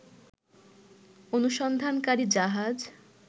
অনুসন্ধানকারী জাহাজ